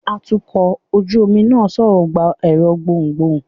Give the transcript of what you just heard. atukọ̀ ojú omi náà sọrọ gbá ẹrọ gbohún-gbohún